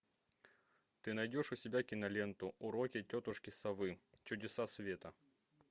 ты найдешь у себя киноленту уроки тетушки совы чудеса света